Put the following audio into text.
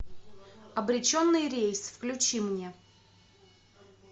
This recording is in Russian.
обреченный рейс включи мне